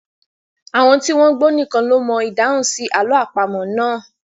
Àwọn tí wọ́n gbọ́n nìkan ló mọ ìdáhùn sí àlọ́ àpamọ̀ náà.